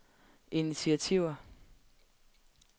initiativer